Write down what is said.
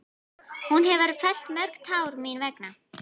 Hún hefur fellt mörg tár mín vegna.